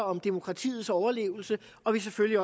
om demokratiets overlevelse og selvfølgelig